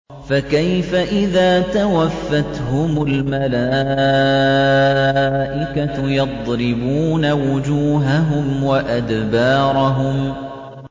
فَكَيْفَ إِذَا تَوَفَّتْهُمُ الْمَلَائِكَةُ يَضْرِبُونَ وُجُوهَهُمْ وَأَدْبَارَهُمْ